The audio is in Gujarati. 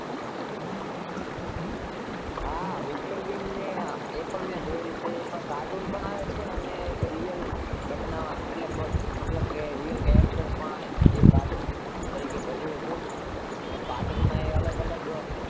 હા mister bean એ પણ મેં જોયેલું છે cartoon પણ હોય છે અને real character તરીકે પણ ભજવે છે cartoon પણ અલગ અલગ